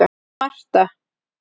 Marta